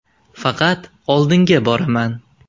Faqat oldinga boraman.